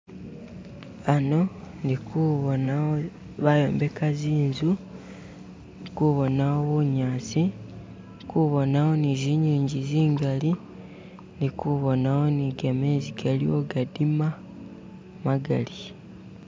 Hano indikubonawo bayombeka zinzu nkubonawo bunyasi ndi kubonawo ni zinjinji zingali ndi kubonawo ni gamezi galiwo gadima magali.